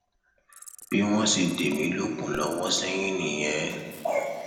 bí wọn ṣe dé mi lókun lọwọ sẹyìn nìyẹn